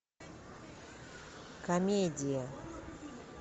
комедия